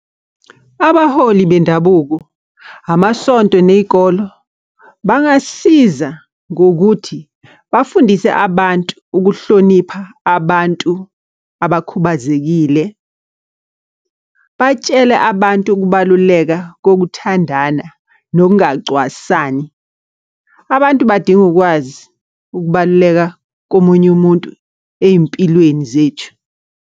Abaholi bendabuko, amasonto ney'kolo, bangasiza ngokuthi bafundise abantu ukuhlonipha abantu abakhubazekile. Batshele abantu ukubaluleka kokuthandana nokungacwasani. Abantu badinga ukwazi ukubaluleka komunye umuntu ey'mpilweni zethu.